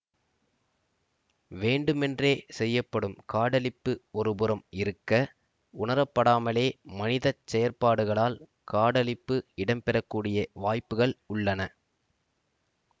வேண்டுமென்றே செய்யப்படும் காடழிப்பு ஒருபுறம் இருக்க உணரப்படாமலே மனித செயற்பாடுகளால் காடழிப்பு இடம்பெறக்கூடிய வாய்ப்புக்கள் உள்ளன